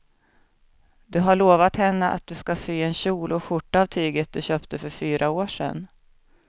Du har lovat henne att du ska sy en kjol och skjorta av tyget du köpte för fyra år sedan.